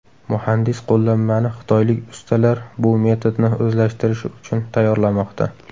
Muhandis qo‘llanmani xitoylik ustalar bu metodni o‘zlashtirishi uchun tayyorlamoqda.